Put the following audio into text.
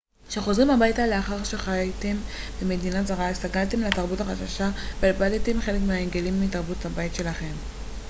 כשחוזרים הביתה לאחר שחייתם במדינה זרה הסתגלתם לתרבות החדשה ואיבדתם חלק מההרגלים מתרבות הבית שלכם